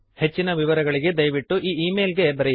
ಹೆಚ್ಚಿನ ವಿವರಗಳಿಗೆ ದಯವಿಟ್ಟು ಈ ಈ ಮೇಲ್ ಗೆ ಬರೆಯಿರಿ